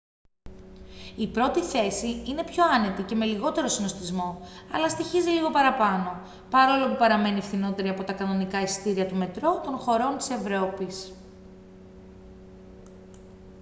η πρώτη θέση είναι πιο άνετη και με λιγότερο συνωστισμό αλλά στοιχίζει λίγο παραπάνω παρόλο που παραμένει φθηνότερη από τα κανονικά εισιτήρια του μετρό των χωρών της ευρώπης